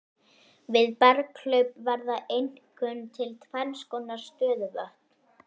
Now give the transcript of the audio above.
Við berghlaup verða einkum til tvennskonar stöðuvötn.